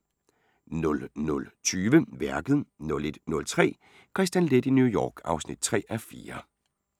00:20: Værket 01:03: Kristian Leth i New York (3:4) (Afs. 3)*